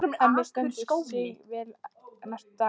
Hemmi stendur sig vel næstu daga.